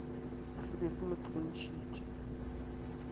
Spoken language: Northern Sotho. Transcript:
se be se mo tsentšhitše